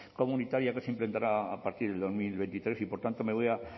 comunitaria que se implantará a partir de dos mil veintitrés y por tanto me voy a